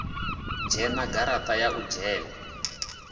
dzhena garaṱa ya u dzhena